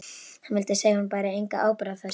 Hann vildi segja að hún bæri enga ábyrgð á þessu.